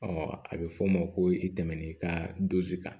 a bɛ fɔ o ma ko i tɛmɛn'i ka dozi kan